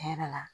Tiɲɛ yɛrɛ la